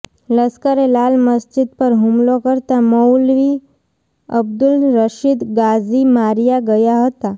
લશ્કરે લાલ મસ્જિદ પર હુમલો કરતાં મૌલવી અબદુલ રશીદ ગાઝી માર્યા ગયા હતા